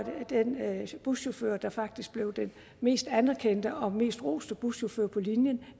den buschauffører der faktisk blev den mest anerkendte og mest roste buschauffør på linjen